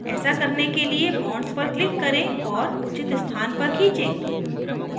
ऐसा करने के लिए bonds पर click करें और उचित स्थान पर खीचें